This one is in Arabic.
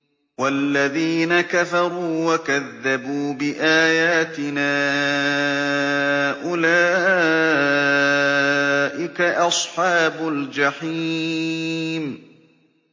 وَالَّذِينَ كَفَرُوا وَكَذَّبُوا بِآيَاتِنَا أُولَٰئِكَ أَصْحَابُ الْجَحِيمِ